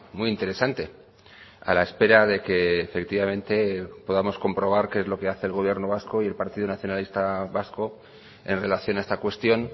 muy interesante a la espera de que efectivamente podamos comprobar qué es lo que hace el gobierno vasco y el partido nacionalista vasco en relación a esta cuestión